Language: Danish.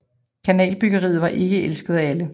Kanalbyggeriet var ikke elsket af alle